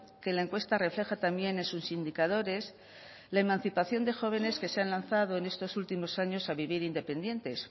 que la encuesta refleja también en sus indicadores la emancipación de jóvenes que se han lanzado en estos últimos años a vivir independientes